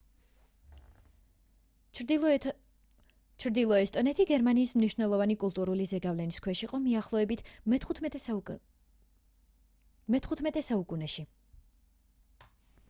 ჩრდილო ესტონეთი გერმანიის მნიშვნელოვანი კულტურული ზეგავლენის ქვეშ იყო მიახლოებით მე-15 საუკუნეში